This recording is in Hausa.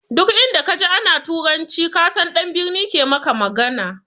Duk inda ka ji ana turanci ka san ɗan birni ke maka magana